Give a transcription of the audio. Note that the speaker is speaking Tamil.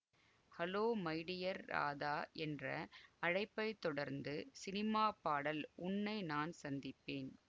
ஹல்லோ மை டியர் ராதா என்ற அழைப்பைத் தொடர்ந்து சினிமாப் பாடல் உன்னை நான் சந்திப்பேன்